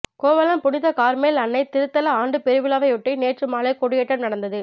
கோவளம் புனித கார்மேல் அன்னை திருத்தல ஆண்டு பெருவிழாவையொட்டி நேற்று மாலை கொடியேற்றம் நடந்தது